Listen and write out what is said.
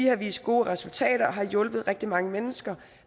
har vist gode resultater og har hjulpet rigtig mange mennesker